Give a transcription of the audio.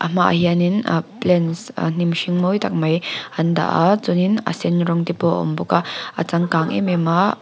a hma ah hianin ah plants ah hnim hring mawi tak mai an dah a chuanin a sen rawng te pawh a awm bawk a a changkang em em a--